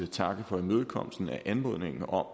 takke for imødekommelsen af anmodningen om